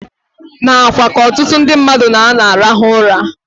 N'akwa ka ọtụtụ ndị mmadụ na-anọ arahụ ụra.